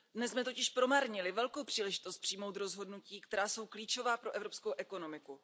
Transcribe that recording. Dnes jsme totiž promarnili velkou příležitost přijmout rozhodnutí, která jsou klíčová pro evropskou ekonomiku.